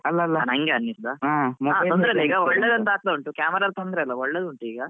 ನನ್ಗೆ ಅನಿಸೋದ ತೊಂದ್ರೆ ಇಲ್ಲ ಒಳ್ಳೆದಾಗ್ತಾ ಉಂಟು camera ಎಲ್ಲ ಒಳ್ಳೆ ಉಂಟು ಈಗ.